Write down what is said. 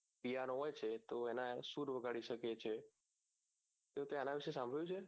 હોય છે તો એના સુર વગાડી શકે છે તો તે આના વિષે સાંભળ્યું છે